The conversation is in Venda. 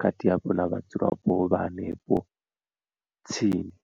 khathihi hafhu na vhadzulapo vha hanefho tsini.